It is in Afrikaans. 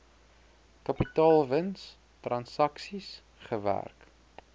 kapitaalwins transaksies gewerk